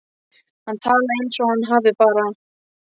Hann talar eins og hann hafi bara.